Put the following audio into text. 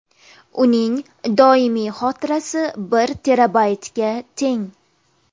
Uning doimiy xotirasi bir terabaytga teng.